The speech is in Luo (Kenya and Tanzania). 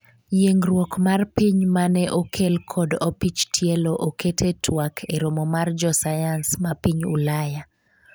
yiengruok mar piny mane okel kod opich tielo oket e twak e romo mar jo sayans ma piny Ulaya